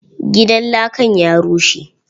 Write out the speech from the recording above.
Gidan lakan ya rushe.